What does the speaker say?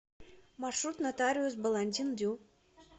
маршрут нотариус баландин дю